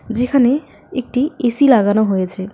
যেখানে একটি এ_সি লাগানো হয়েছে।